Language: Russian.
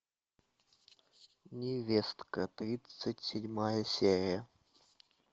невестка тридцать седьмая серия